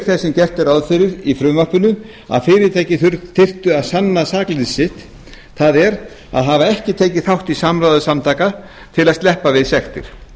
þess sem gert er ráð fyrir í frumvarpinu að fyrirtæki þyrftu að sanna sakleysi sitt það er að hafa ekki tekið þátt í samráði samtaka til að sleppa við sektir